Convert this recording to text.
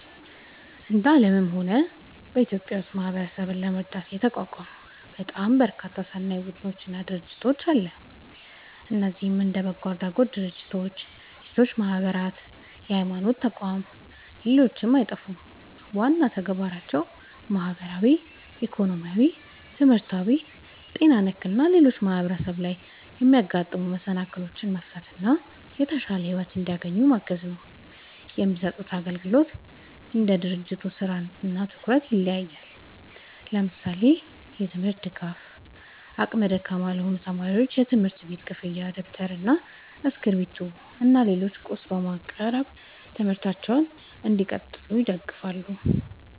እንደ አለምም ሆነ በኢትዮጵያ ውስጥ ማህበረሰብን ለመርዳት የተቋቋሙ በጣም በርካታ ሰናይ ቡድኖች እና ድርጅቶች አለ። እነዚህም እንደ በጎ አድራጎት ድርጅቶች፣ የሴቶች ማህበራት፣ የሀይማኖት ተቋም ሌሎችም አይጠፉም። ዋና ተግባራቸውም ማህበራዊ፣ ኢኮኖሚያዊ፣ ትምህርታዊ፣ ጤና ነክ እና ሌሎችም ማህበረሰብ ላይ የሚያጋጥሙ መሰናክሎችን መፍታት እና የተሻለ ሒወት እንዲያገኙ ማገዝ ነው። የሚሰጡት አግልግሎት እንደ ድርጅቱ ስራ እና ትኩረት ይለያያል። ለምሳሌ፦ የትምርት ድጋፍ አቅመ ደካማ ለሆኑ ተማሪዎች የትምህርት ቤት ክፍያ ደብተር እና እስክሪብቶ እና ሌላም ቁስ በማቅረብ ትምህርታቸውን እንዲቀጥሉ ይደግፋሉ